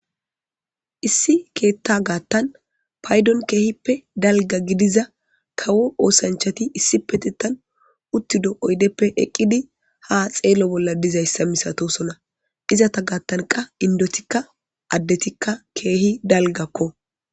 Issi ketha gatan paydon kehipe dalga gidiza kawo osanchati issipetetan utido oydepe eqidi ha xelo bola de'izaysa misatosona izata gatan qa indotika adetika kehi dalgako.